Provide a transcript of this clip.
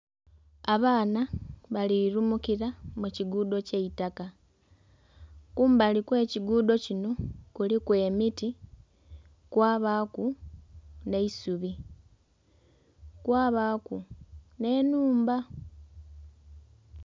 Abaana bali lumukira mu kiguudo ky'eitaka, kumbali kw'ekiguudo kino kuliku emiti kwabaaku n'eisubi kwabaaku n'ennhumba.